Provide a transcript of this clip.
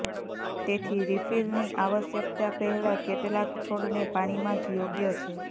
તેથી રિફિલની આવશ્યકતા પહેલા કેટલાક છોડને પાણીમાં જ યોગ્ય છે